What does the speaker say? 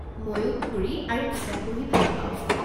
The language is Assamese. মইও ফুৰি আৰু কিতাপ পঢ়ি ভাল পাওঁ।